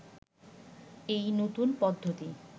এই নতুন পদ্ধতি